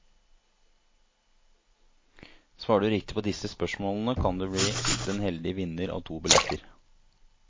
Svarer du riktig på disse spørsmålene kan du bli den heldige vinner av to billetter.